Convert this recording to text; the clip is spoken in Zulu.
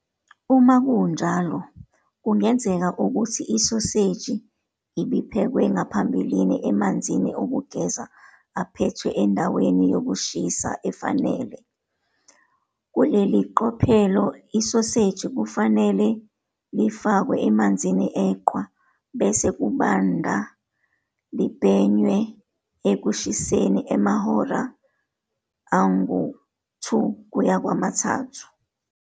Uma kunjalo, kungenzeka ukuthi isoseji ibiphekwe ngaphambilini emanzini okugeza aphethwe endaweni yokushisa efanele. Kuleli qophelo isoseji kufanele lifakwe emanzini eqhwa, bese kubanda libhenywe ekushiseni amahora angu-2-3.